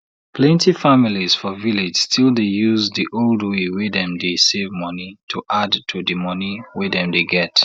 plenty families for village still dey use di old way wey dem dey save money to add to di monie wey dem dey get